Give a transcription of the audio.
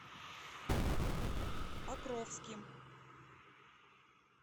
покровским